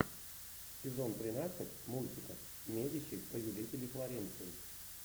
сезон тринадцать мультика медичи повелители флоренции